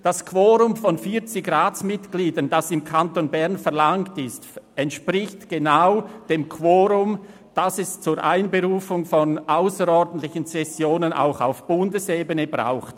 Das Quorum von 40 Ratsmitgliedern, das im Kanton Bern verlangt wird, entspricht genau dem Quorum, das es zur Einberufung ausserordentlicher Sessionen auch auf Bundesebene braucht.